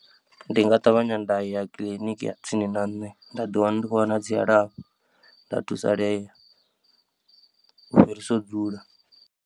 Ndi nga ṱavhanya nda ya kiḽiniki ya tsini na nṋe nda ḓiwana ndi khou wana dzilafho nda thusalea u fhirisa u dzula.